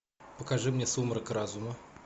покажи мне сумрак разума